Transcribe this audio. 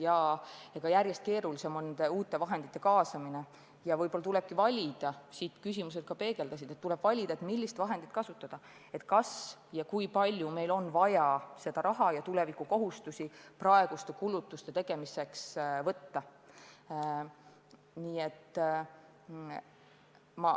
Nende uute vahendite kaasamine on järjest keerulisem ja võib-olla tulebki valida – seda küsimused ka peegeldasid –, millist vahendit kus kasutada, kui palju meil on vaja laenu tuleviku ja praeguste kulutuste tegemiseks võtta.